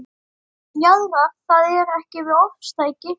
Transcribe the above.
Jaðrar það ekki við ofstæki?